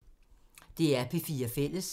DR P4 Fælles